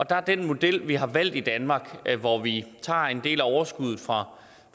er den model vi har valgt i danmark hvor vi tager en del af overskuddet fra